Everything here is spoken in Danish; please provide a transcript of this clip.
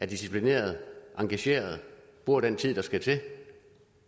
disciplinerede engagerede bruger den tid der skal til og